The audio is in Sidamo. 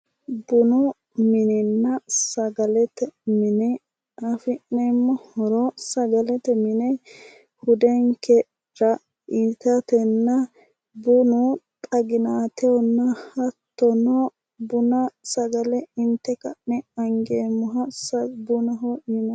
Bunu minenna sagalete mine afi'neemmo horo sagalete mine hudenkera itatenna bunu xaginatehonna hattono buna sagale inte ka'ne angeemmoha bunaho yinanni